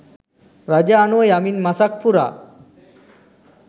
රජු අනුව යමින් මසක් පුරා